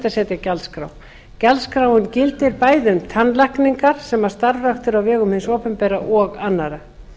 að setja gjaldskrá gjaldskráin gildir bæði um tannlækningar sem starfræktar eru á vegum hins opinbera og annarra